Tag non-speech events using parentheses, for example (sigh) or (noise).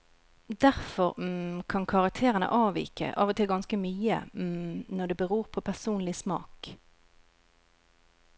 Derfor (hesitation) kan karakterene avvike, av og til ganske mye (hesitation) når det beror på personlig smak.